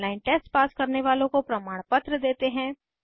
online test pass करने वालों को प्रमाणपत्र देते हैं